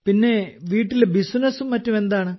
പിന്നെ വീട്ടിലെ ബിസിനസ്സും മറ്റും എന്താണ്